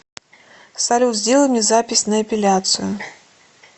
салют сделай мне запись на эпиляцию